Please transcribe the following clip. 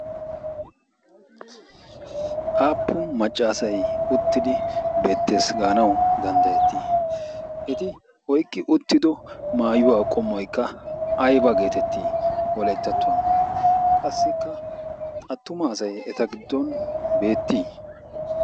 Appun macca asay uttidi beettees gaanawu danddayetti? Eti oyqqi uttido maayuwaa qommoykka ayba geetetti wolayttattuwaan? Qassikka attuma asay eta giddon beetti?